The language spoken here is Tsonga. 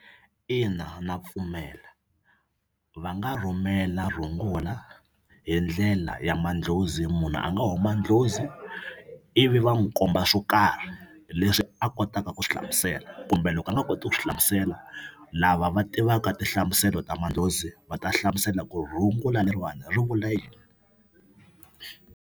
Ina na pfumela va nga rhumela rhungula hi ndlela ya madlozi munhu a nga huma dlozi ivi va n'wu komba swo karhi leswi a kotaka ku swi hlamusela kumbe loko a nga koti ku swi hlamusela lava va tivaka tinhlamuselo ta madlozi va ta hlamusela ku rhungula leriwani ri vula yini.